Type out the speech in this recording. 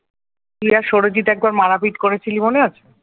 তুই আর সৌরজিত একবার মারপিট করেছিলিস মনে আছে?